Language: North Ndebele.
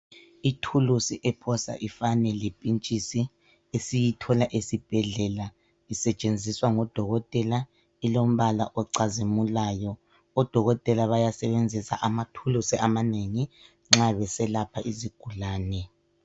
Ithulusi ephosa ifane le pintshisi esiyithola esibhedlela isetshenziswa ngodokotela ilombala ocazimulayo .Odokotela bayasebenzisa amathulusi amanengi nxa beselapha izigulane .